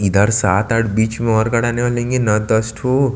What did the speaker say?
इधर सात आठ बेच में और गढ़ाने वालेगए नो दस ठो--